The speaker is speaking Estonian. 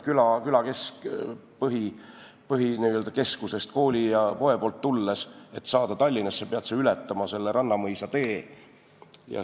Külakeskusest, kooli ja poe poolt tulles, pead sa selleks, et saada Tallinnasse, ületama Rannamõisa tee.